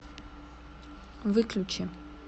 выключи